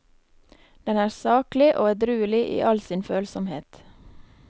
Den er saklig og edruelig i all sin følsomhet.